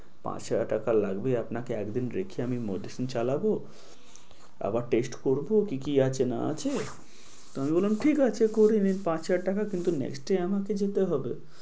পাঁচ হাজার টাকা লাগবে আপনাকে একদিন রেখে আমি medicine চালাবো। আবার test করব কি কি আছে না আছে। তো আমি বললাম ঠিক আছে করে নিন পাঁচ হাজার টাকা কিন্ত next day আমাকে যেতে হবে।